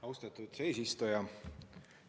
Austatud eesistuja!